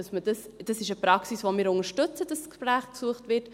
Das ist eine Praxis, die wir unterstützen, dass das Gespräch gesucht wird.